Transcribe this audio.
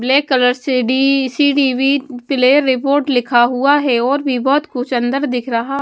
black colour C D C D V player report लिखा हुआ है और भी बहुत कुछ अंदर दिख रहा --